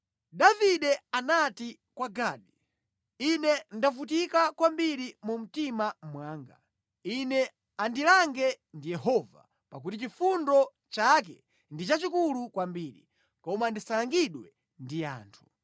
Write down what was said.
Davide anati kwa Gadi, “Ine ndavutika kwambiri mu mtima mwanga. Ine andilange ndi Yehova, pakuti chifundo chake ndi chachikulu kwambiri; koma ndisalangidwe ndi anthu.”